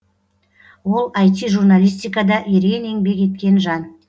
ол іт журналистикада ерен еңбек еткен жан